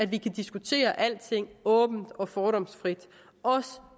vi kan diskutere alting åbent og fordomsfrit også